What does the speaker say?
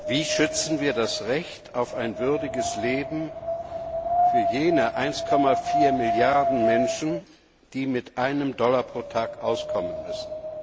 Wie schützen wir das Recht auf ein würdiges Leben für jene 1,4 Milliarden Menschen, die mit einem Dollar pro Tag auskommen müssen?